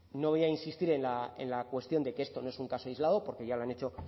no voy a insistir en la cuestión de que esto no es un caso aislado porque ya lo han hecho